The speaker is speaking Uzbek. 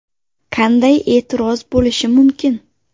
Qanday e’tiroz bo‘lishi mumkin?!